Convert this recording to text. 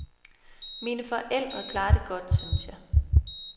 Mine forældre klarer det godt, synes jeg.